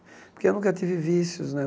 Porque eu nunca tive vícios, né?